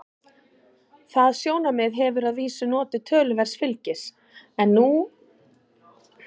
Það sjónarmið hefur að vísu notið töluverðs fylgis en er nú á undanhaldi.